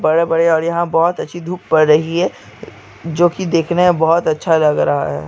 बड़े बड़े है और यहाँ बहुत अच्छी धुप पद रही है जो देखने मैं बहुत अच्छी लग रही है|